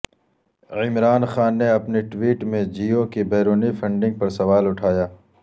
عمران خان نے اپنی ٹویٹ میں جیو کی بیرونی فنڈنگ پر سوال اٹھایا